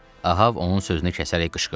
Ahab onun sözünü kəsərək qışqırdı.